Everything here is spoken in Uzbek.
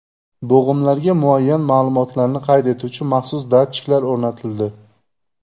Bo‘g‘imlarga muayyan ma’lumotlarni qayd etuvchi maxsus datchiklar o‘rnatildi.